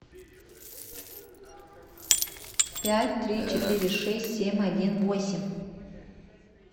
пять три четыре шесть семь один восемь